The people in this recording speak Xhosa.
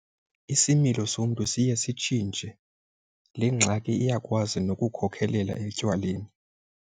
Isimilo somntu siye sitshintshe. Le ngxaki iyakwazi nokukhokelela etywaleni.